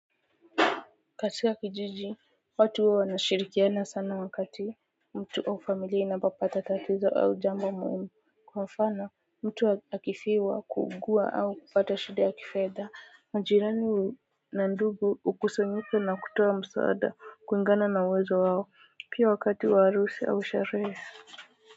Katika kijiji watu huwa wanashirikiana sana wakati mtu au familia inapo pata tatizo au jambo muhimu, kwa mfano mtu akifiwa, kuugua au kupata shidi ya kifedha majirani na ndugu hukusanyika na kutoa msaada kulingana na uwezo wao, pia wakati wa harusi au sherehe.